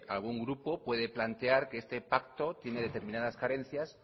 algún grupo puede plantear que ese pacto tiene determinadas carencias